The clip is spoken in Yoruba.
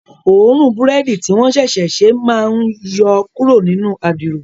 Òórùn búrẹ́dì tí wọ́n ṣẹ̀ṣẹ̀ ṣe máa ń yọ kúrò nínú adiro